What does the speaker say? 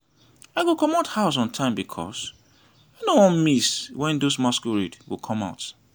i go comot house on time because i no wan miss when those masquerade go come out